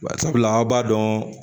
Barisabula an b'a dɔn